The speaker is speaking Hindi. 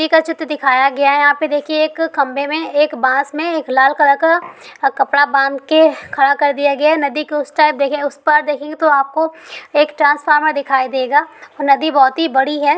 नदी का चित्र दिखाया गया है| यहाँ पे देखिये एक खम्भे में एक बांस में एक लाल कलर का अ कपड़ा बाँध के खड़ा कर दिया है| नदी के उस पार देखिये उस पार देखेंगे तो आपको एक ट्रांसफार्मर दिखाई देगा | और नदी बहुत ही बड़ी है।